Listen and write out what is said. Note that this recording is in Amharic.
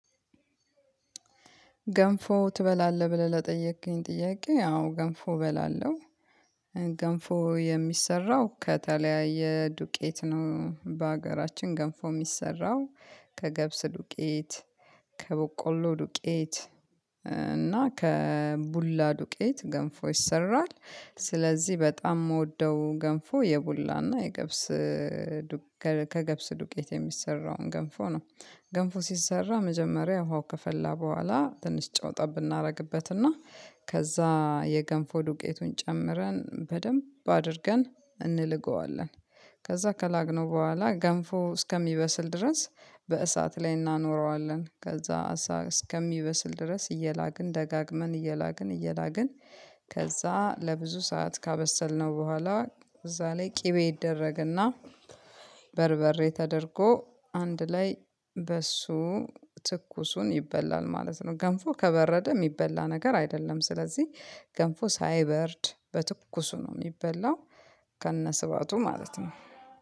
ገንፎ ትበላለህ ብለህ ለጠየከኝ ጥያቄ አዎ ገንፎ እበላለሁ። ገንፎ የሚሰራው ከተለያየ ዱቄት ነው በሀገራችን ገንፎ የሚሰራው ከገብስ ዱቄት ከበቆሎ ዱቄት እና ከቡላ ዱቄት ገንፎ ይሰራል ስለዚህ በጣም የምወደው ገንፎ የቡላና የገብስ ከገብስ ዱቄት የሚሰራውን ገንፎ ነው። ገንፎ ሲሰራ መጀመሪያ ውሃው ከፈላ በኋላ ትንሽ ጨው ጠብ እናደርግበትና ከዛ የገንፎ ዱቄቱን ጨምረን በደንብ አድርገን እንልገዋለን። ከዛ ከላግነው በኋላ ገንፎ እስከሚበስል ድረስ በእሳት ላይ እናኖረዋለን ከዛ እሳ እስከሚበስል ድረስ እየላግን ደጋግመን እየላግን እየላግን ከዛ ለብዙ ሰዓት ካበሰልነው በኋላ እዛ ላይ ቅቤ ይደረግና በርበሬ ተደርጎ አንድ ላይ በሱ ትኩሱን ይበላል ማለት ነው። ገንፎ ከበረደ የሚበላ ነገር አይደለም ስለዚህ ገንፎ ሳይበርድ በትኩሱ ነው የሚበላው። ከነስበቱ ማለት ነው